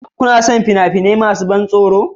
Kuna son fina-finai masu ban tsoro